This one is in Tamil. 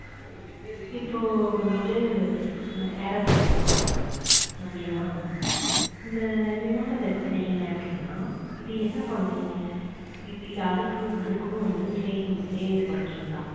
இப்போ வந்துட்டு aeroplane எடுத்துக்கோங்க நம் விமானம் இந்த விமானத்த எடுத்துக்கிட்டீங்க அப்படின்னா இது என்ன பண்ணும்? இது அதுக்கு அதுக்கும் வந்து இதே தான்